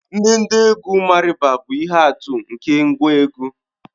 Ndedegwu Marimba bụ ihe atụ nke ngwá egwú